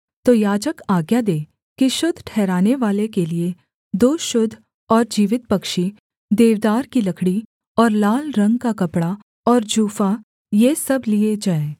तो याजक आज्ञा दे कि शुद्ध ठहरानेवाले के लिये दो शुद्ध और जीवित पक्षी देवदार की लकड़ी और लाल रंग का कपड़ा और जूफा ये सब लिये जाएँ